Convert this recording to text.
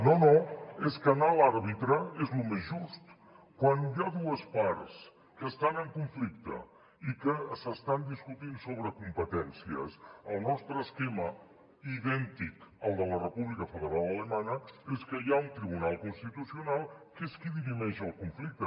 no no és que anar a l’àrbitre és el més just quan hi ha dues parts que estan en conflicte i que s’estan discutint sobre competències el nostre esquema idèntic al de la república federal alemanya és que hi ha un tribunal constitucional que és qui dirimeix el conflicte